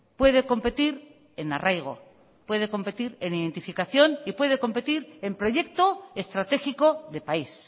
puede competir en arraigo puede competir en identificación y puede competir en proyecto estratégico de país